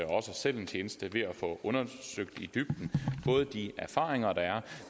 os selv en tjeneste ved at få undersøgt det i dybden fået de erfaringer der er